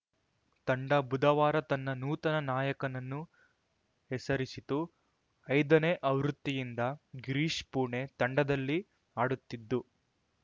ತಂಡ ಬುಧವಾರ ತನ್ನ ನೂತನ ನಾಯಕನನ್ನು ಹೆಸರಿಸಿತು ಐದನೇ ಆವೃತ್ತಿಯಿಂದ ಗಿರೀಶ್‌ ಪುಣೆ ತಂಡದಲ್ಲಿ ಆಡುತ್ತಿದ್ದು